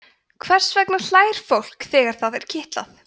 hvers vegna hlær fólk þegar það er kitlað